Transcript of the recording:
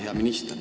Hea minister!